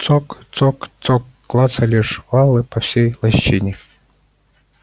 цок цок цок клацали жвалы по всей лощине